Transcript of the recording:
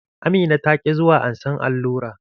Amina ta ki zuwa ansan allura.